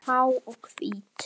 Há og hvít.